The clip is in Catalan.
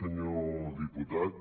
senyor diputat